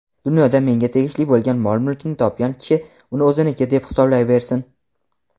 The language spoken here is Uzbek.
Dunyoda menga tegishli bo‘lgan mol-mulkni topgan kishi uni o‘ziniki deb hisoblayversin.